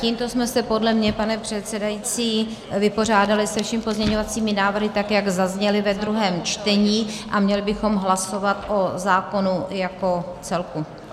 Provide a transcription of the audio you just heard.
Tímto jsme se podle mne, pane předsedající, vypořádali se všemi pozměňovacími návrhy, tak jak zazněly ve druhém čtení, a měli bychom hlasovat o zákonu jako celku.